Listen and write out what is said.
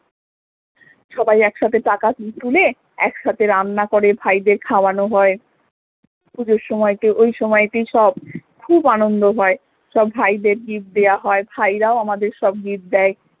সবাই একসাথে টাকা তুলে একসাথে রান্না করে ভাইদের খাওয়ানো হয় পুজোর সময়েতে ওই সময়ের সব খুব আনন্দ হয় সব ভাইদের gift দেয়া হয় ভাইরাও আমাদের সব gift দেয়